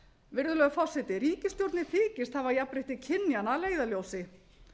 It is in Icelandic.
virðulegur forseti ríkisstjórnin þykist hafa jafnrétti kynjanna að leiðarljósi